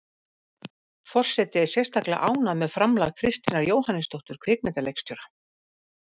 Forseti er sérstaklega ánægð með framlag Kristínar Jóhannesdóttur kvikmyndaleikstjóra.